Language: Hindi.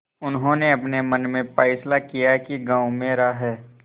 उन्होंने अपने मन में फैसला किया कि गॉँव मेरा है